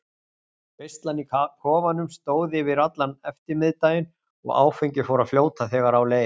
Veislan í kofanum stóð yfir allan eftirmiðdaginn og áfengið fór að fljóta þegar á leið.